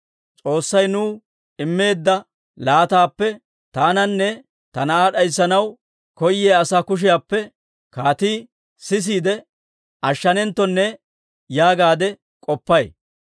S'oossay nuw immeedda laataappe taananne ta na'aa d'ayssanaw koyiyaa asaa kushiyaappe kaatii sisiide ashshanenttonne› yaagaade k'oppay.